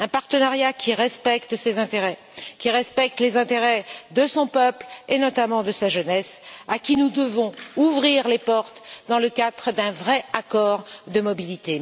Un partenariat qui respecte ses intérêts, qui respecte les intérêts de son peuple et notamment de sa jeunesse, à qui nous devons ouvrir les portes dans le cadre d'un vrai accord de mobilité.